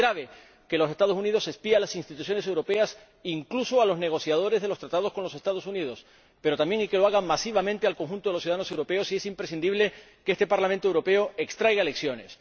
Porque es grave que los Estados Unidos espíen a las instituciones europeas —incluso a los negociadores de los Tratados con los Estados Unidos—, pero también, y que lo hagan masivamente, al conjunto de los ciudadanos europeos. Por ello, es imprescindible que este Parlamento Europeo extraiga lecciones.